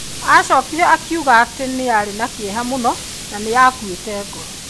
Aacokire akiuga atĩ aarĩ na kĩeha mũno na nĩ aakuĩte ngoro.